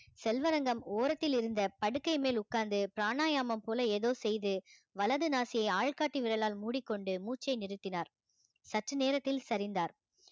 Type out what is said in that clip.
செல்வரங்கம் ஓரத்தில் இருந்த படுக்கை மேல் உட்கார்ந்து பிராணாயாமம் போல ஏதோ செய்து வலது நாசியை ஆள்காட்டி விரலால் மூடிக்கொண்டு மூச்சை நிறுத்தினார் சற்று நேரத்தில் சரிந்தார்